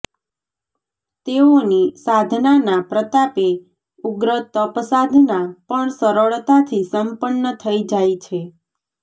તેઓની સાધનાના પ્રતાપે ઉગ્ર તપસાધના પણ સરળતાથી સંપન્ન થઈ જાય છે